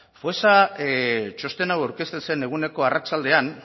foessa txosten hau aurkezten zen eguneko arratsaldean